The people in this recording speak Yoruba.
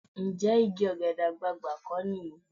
Ǹjẹ́ igi ọ̀gẹ̀dẹ̀ àgbààgbà kọ́ nìyí?